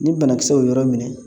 Ni banakisɛ o yɔrɔ minɛ